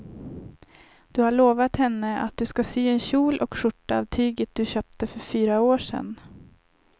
Du har lovat henne att du ska sy en kjol och skjorta av tyget du köpte för fyra år sedan.